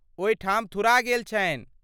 ओहिठाम थुरा गेल छन्हि।